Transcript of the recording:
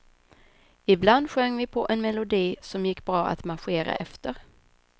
Ibland sjöng vi på en melodi, som gick bra att marschera efter.